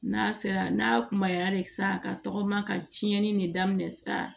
N'a sera n'a kumaya de sisan ka tɔgɔma ka tiɲɛni de daminɛ sisan